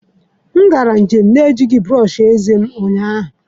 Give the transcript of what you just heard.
M gara njem na-ejighị brọsh eze m ụnyaahụ.